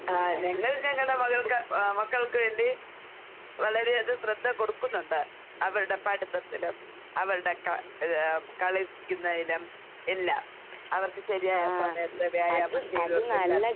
ആഹ് ഞങ്ങൾ ഞങ്ങടെ മകൾക്ക് ആഹ് മക്കൾക്ക് വേണ്ടി വളരെയത് ശ്രദ്ധ കൊടുക്കുന്നൊണ്ട് അവരടെ പഠുത്തത്തിനും അവരടെ ക ഇത് കളിക്ക്ന്നേലും എല്ലാം. അവർക്ക് ശെരിയായ സമയത്ത് വ്യായാമം ചെയ്ത്